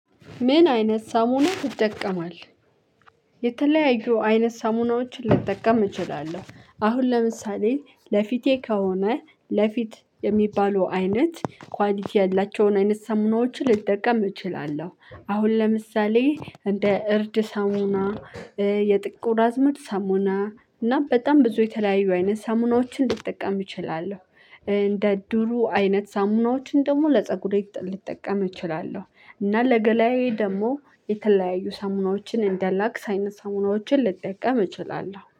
ምን አይነት ሳሙና ትጠቀማለህ? የተለያዩ አይነት ሳሙናዎችን ልጠቀም እችላለሁ። አሁን ለምሳሌ ለፊቴ ከሆነ ለፊት የሚባሉ አይነት ኳሊቲ ያላቸውን አይነት ሳሙናዎችን ልጠቀም እችላለሁ። አሁን ለምሳሌ እንደ እርድ ሳሙና የጥቁር አዝሙድ ሳሙና እና በጣም ብዙ የተለያዩ አይነት ሳሙናዎችን ልጠቀም እችላለሁ። እንደ ዶሩ አይነት ሳሙናዎችን ደግሞ ለፀጉሬ ልጠቀም እችላለሁ። እና ለገላዬ ደግሞ የተለያዩ ሳሙናዎችን እንደላክስ አይነት ሳሙናዎችን ልጠቀም እችላለሁ